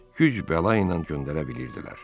Güc bəla ilə göndərə bilirdilər.